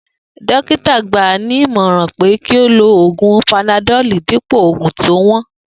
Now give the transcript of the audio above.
Dokita gba ní ìmọ̀ràn pé kí ó lo oògùn panadoli dípò oògùn tí ó wón